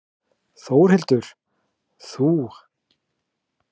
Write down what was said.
Þórhildur: Þú?